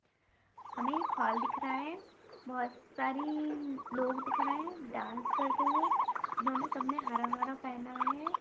हमे एक हॉल दिख रहा है बहुत सारी लोग दिख रहे है डांस करते हुए इन्होने सब ने हरा-हरा पहना है।